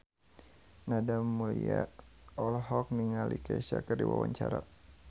Nadia Mulya olohok ningali Kesha keur diwawancara